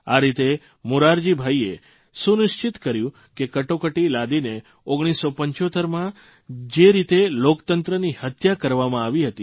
આ રીતે મોરારજીભાઇએ એ સુનિશ્ચિત કર્યું કે કટોકટી લાદીને 1975માં જે રીતે લોકતંત્રની હત્યા કરવામાં આવી હતી